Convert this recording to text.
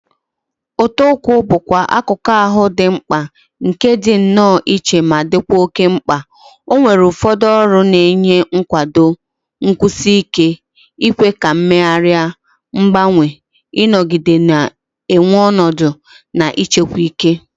Ụta ụkwụ bụkwa akụkụ ahụ dị mkpa nke dị nnọọ iche ma dịkwa oke mkpa, ọ nwere ụfọdụ ọrụ na-enye nkwado, nkwụsi ike, ikwe ka mmegharị, mgbanwe, ịnọgide na-enwe ọnọdụ, na ịchekwa ike.